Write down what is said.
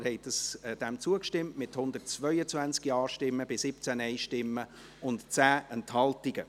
Sie haben dem zugestimmt, mit 122 Ja- bei 17 Nein-Stimmen und 10 Enthaltung.